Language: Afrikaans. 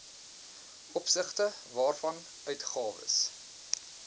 opsigte waarvan uitgawes